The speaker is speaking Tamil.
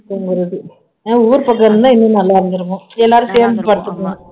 ஊர் பக்கம் இருந்தா இன்னும் நல்லா இருந்துருக்கும் எல்லாரும் சேர்ந்து படுத்துக்காலம்